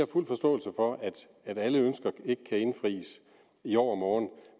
fuld forståelse for at alle ønsker ikke kan indfries i overmorgen